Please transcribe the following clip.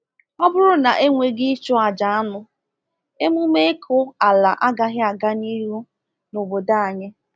Ọ bụrụ na e nweghị ịchụ aja anụ, emume ịkụ ala agaghị aga n’ihu n’obodo anyị.